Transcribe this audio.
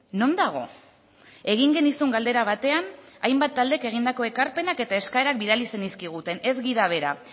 non dago egin genizun galdera batean hainbat taldek egindako ekarpenak eta eskaerak bidali zenizkiguten ez gida bera